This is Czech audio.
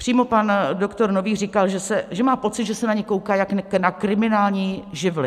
Přímo pan doktor Nový říkal, že má pocit, že se na ně kouká jako na kriminální živly.